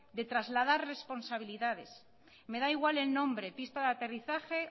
de trasladar responsabilidades me da igual el nombre pista de aterrizaje